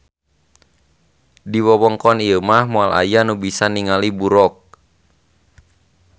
Di wewengkon ieu mah moal aya nu bisa ninggali buroq